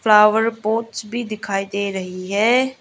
Flower pots भी दिखाई दे रही है।